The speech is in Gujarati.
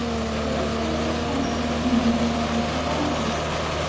દરેક કોંગ્રેસ પાંચ વર્ષની મુદત માટે ચૂંટાઈ આવે છે